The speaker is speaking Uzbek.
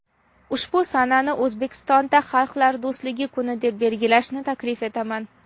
ushbu sanani O‘zbekistonda "Xalqlar do‘stligi kuni" deb belgilashni taklif etaman".